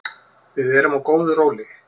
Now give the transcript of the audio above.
Við erum á góðu róli